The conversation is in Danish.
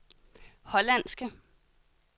hollandske